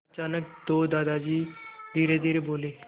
अचानक दादाजी धीरेधीरे बोले